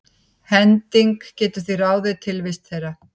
Hending getur því ráðið tilvist þeirra.